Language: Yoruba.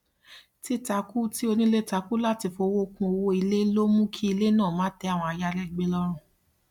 títakú tí onílé takú láti fí owó kún owó ilé ló mú kí ilé náà má tẹ àwọn ayàlégbé lọrùn